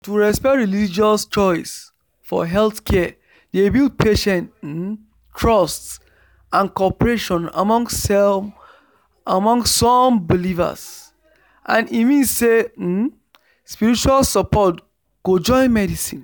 to respect religious choice for healthcare dey build patient um trust and cooperation among some believers and e mean say um spiritual support go join medicine